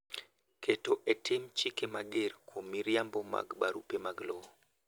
Keto e tim chike mager kuom miriambo mag barupe mag lowo.